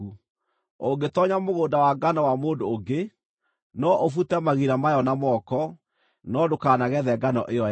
Ũngĩtoonya mũgũnda wa ngano wa mũndũ ũngĩ, no ũbute magira mayo na moko, no ndũkanagethe ngano ĩyo yake.